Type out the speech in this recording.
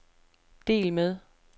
del med